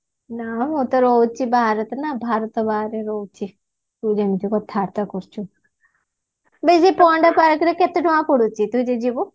ନା ମୁଁ ତ ରହୁଛି ନା ଭାରତ ବାହାରେ ରାହୁଛି ତୁ ଯେମିତି କଥାବାର୍ତ୍ତା କରୁଛୁ ବେ ଏଇ ଯୋଉ ପଣ୍ଡା park ରେ କେତେ ଟଙ୍କା ପଡୁଛି ତୁ ଯୋଉ ଯିବୁ